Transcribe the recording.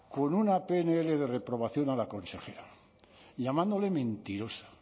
con una pnl de reprobación a la consejera llamándole mentirosa